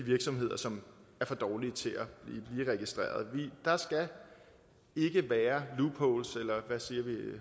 virksomheder som er for dårlige til at blive registreret der skal ikke være loopholes eller hvad siger vi